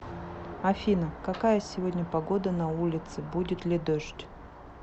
афина какая сегодня погода на улице будет ли дождь